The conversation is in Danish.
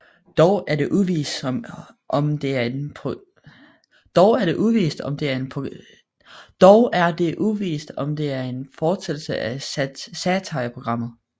Dog er det uvist om det er en fortsættelse af satireprogrammet